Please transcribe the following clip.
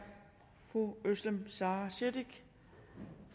fru özlem sara cekic